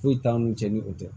Foyi t'an n'u cɛ ni o tɛ